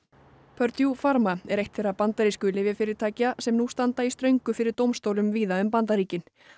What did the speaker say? purdue Pharma er eitt þeirra bandarísku lyfjafyrirtækja sem nú standa í ströngu fyrir dómstólum víða um Bandaríkin